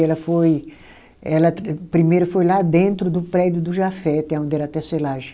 Ela foi, ela primeiro foi lá dentro do prédio do Jafet, aonde era a tecelagem.